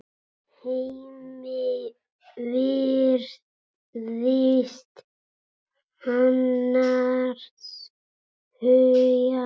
Hemmi virðist annars hugar.